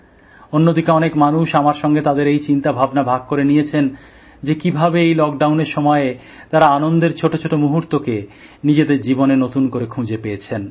অন্যদিকে অনেক মানুষ আমার সঙ্গে তাদের এই চিন্তা ভাবনা ভাগ করে নিয়েছেন যে কিভাবে এই লকডাউনের সময়ে তারা আনন্দের ছোট ছোট মুহূর্তকে নিজেদের জীবনে নতুন করে খুঁজে পেয়েছেন